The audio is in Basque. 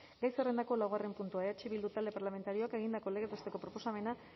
gai zerrendako laugarren puntua eh bildu talde parlamentarioak egindako legez besteko proposamena